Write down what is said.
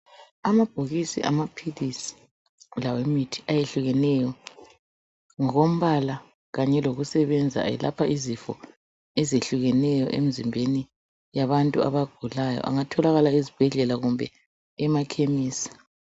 Amabhokisi amaphilisi lawemithi ayehlukeneyo ngokombala kanye lokusebenza elapha izifo ezehlukeneyo emzimbeni yabantu abagulayo. Angatholakala ezibhedlela kumbe emakhemisi.